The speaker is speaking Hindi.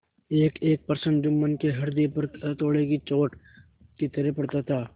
एकएक प्रश्न जुम्मन के हृदय पर हथौड़े की चोट की तरह पड़ता था